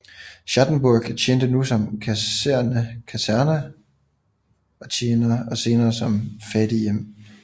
Schattenburg tjente nu som kaserne og senere som fattighjem